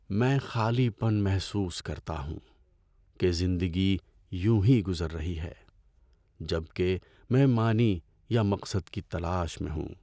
میں خالی پن محسوس کرتا ہوں کہ زندگی یونہی گزر رہی ہے جب کہ میں معنی یا مقصد کی تلاش میں ہوں۔